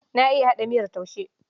Na iya haɗa miyar taushe.